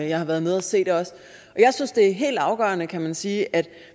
jeg har været nede at se det også og jeg synes det er helt afgørende kan man sige at